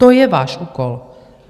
To je váš úkol.